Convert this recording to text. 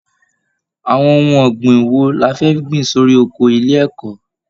Àwọn ohun ọ̀gbìn wo la fẹ́ gbìn sórí oko ilé ẹ̀kọ́!